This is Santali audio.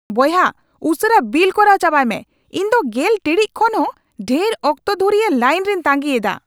ᱵᱚᱭᱦᱟ, ᱩᱥᱟᱹᱨᱟ ᱵᱤᱞ ᱠᱚᱨᱟᱣ ᱪᱟᱵᱟᱭ ᱢᱮ ! ᱤᱧ ᱫᱚ ᱑᱐ ᱴᱤᱲᱤᱡ ᱠᱷᱚᱱ ᱦᱚᱸ ᱰᱷᱮᱨ ᱚᱠᱛᱚ ᱫᱷᱩᱨᱤᱭᱟᱹ ᱞᱟᱭᱤᱱ ᱨᱮᱧ ᱛᱟᱹᱜᱤᱭᱮᱫᱟ ᱾